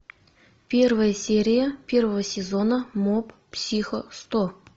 первая серия первого сезона моб психо сто